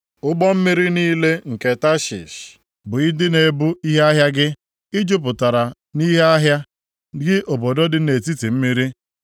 “ ‘Ụgbọ mmiri niile nke Tashish bụ ndị na-ebu ihe ahịa gị. I jupụtara nʼihe ahịa, gị obodo dị nʼetiti mmiri.